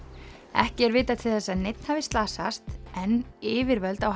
ekki er vitað til þess að neinn hafi slasast en yfirvöld á